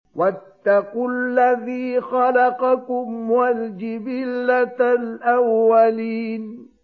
وَاتَّقُوا الَّذِي خَلَقَكُمْ وَالْجِبِلَّةَ الْأَوَّلِينَ